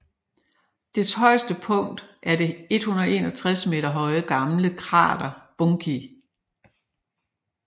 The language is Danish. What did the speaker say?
Dets højeste punkt er det 161 meter høje gamle krater Bunki